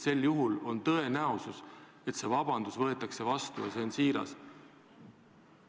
Sel juhul on tõenäoline, et vabandus võetakse vastu ja see on siiras.